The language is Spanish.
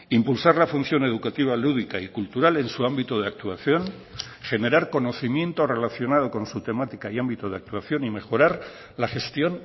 impulsar la función educativa lúdica y cultural en su ámbito de actuación generar conocimiento relacionado con su temática y ámbito de actuación y mejorar la gestión